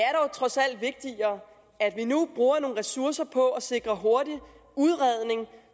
er dog trods alt vigtigere at vi nu bruger nogle ressourcer på at sikre hurtig udredning